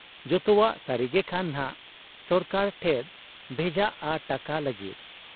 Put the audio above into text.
ᱡᱚᱛᱚᱣᱟᱜ ᱥᱟᱹᱨᱤ ᱜᱮᱠᱷᱟᱱ ᱱᱷᱟᱜ ᱥᱚᱨᱠᱟᱨ ᱴᱷᱮᱫ ᱵᱷᱮᱡᱟᱜ ᱟ ᱴᱟᱠᱟ ᱞᱟᱹᱜᱤᱫ ᱾